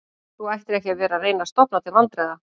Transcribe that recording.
Þú ættir ekki að vera að reyna að stofna til vandræða